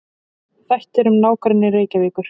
Þættir um nágrenni Reykjavíkur.